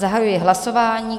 Zahajuji hlasování.